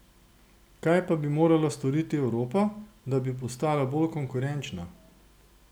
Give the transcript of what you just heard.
Kaj pa bi morala storiti Evropa, da bi postala bolj konkurenčna?